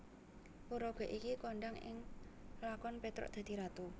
Paraga iki kondhang ing lakon Petruk dadi Ratu